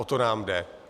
O to nám jde.